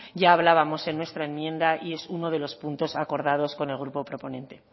ya hablábamos en nuestra enmienda y es uno de los puntos acordados con el grupo proponente